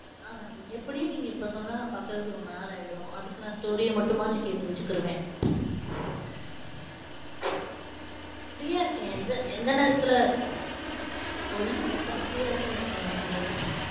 ஆஹ் எப்படியும், நீங்க இப்ப சொன்னா, நான் பாக்குறதுக்கு ரொம்ப நாள் ஆயிடும். அதுக்கு, நான் story அ மட்டுமாச்சு கேட்டு வச்சுக்கிருவேன். free யா இருக்கேன். இந்த எந்த நேரத்துல சொல்லுங்கக்கா, free யாதானே இருக்கீங்க நீங்களும்?